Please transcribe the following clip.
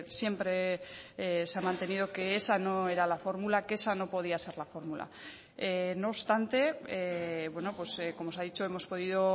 siempre se ha mantenido que esa no era la fórmula que esa no podía ser la fórmula no obstante como se ha dicho hemos podido